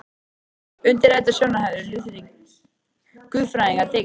Undir þetta sjónarmið hafa lútherskir guðfræðingar tekið.